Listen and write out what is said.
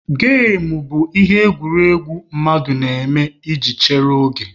Gem bụ ihe egwuregwu mmadụ na-eme iji chere oge.